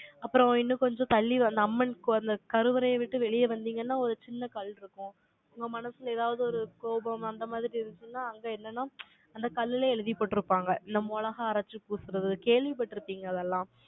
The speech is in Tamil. அப்புறம், இன்னும் கொஞ்சம் தள்ளி, அந்த அம்மன் கருவறையை விட்டு வெளியே வந்தீங்கன்னா, ஒரு சின்ன கல் இருக்கும். உங்க மனசுல ஏதாவது ஒரு கோபம், அந்த மாதிரி இருந்துச்சுன்னா, அங்க என்னன்னா, அந்த கல்லுல எழுதி போட்டு இருப்பாங்க. இந்த மொளகா அரைச்சு பூசுறது, கேள்விப்பட்டிருப்பீங்க அதெல்லாம்.